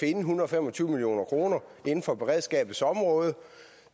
en hundrede og fem og tyve million kroner inden for beredskabets område